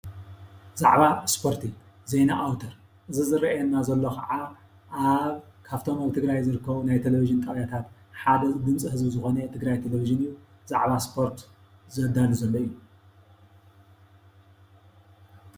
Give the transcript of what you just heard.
ብዛዕባ እስፖርቲ ዜና ኣዉተር ዝራኣየና ዘሎ ከኣ ኣብ ካፍቶም ኣብ ትግርይ ዝርከቡ ቴሌቪዠን ጣብያታት ሓቢሩ ሓደ ድመፂ ዝኮነ ትግራይ ቴሌቪዠን ብዛዕባ ስፖርት ዘዳሉ ዘሎ እዩ።